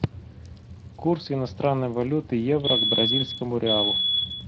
курс иностранной валюты евро к бразильскому реалу